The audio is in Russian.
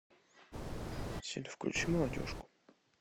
сири включи молодежку